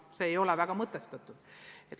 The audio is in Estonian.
See ei ole väga mõttekas.